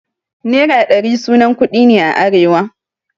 Nera ɗari sunan kuɗi ne a arewa.